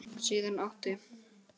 Síðan átti